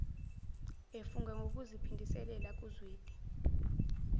efunga ngokuziphindisela kuzwide